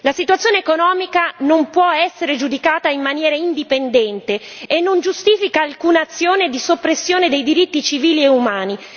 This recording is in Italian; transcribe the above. La situazione economica non può essere giudicata in maniera indipendente e non giustifica alcuna azione di soppressione dei diritti civili e umani.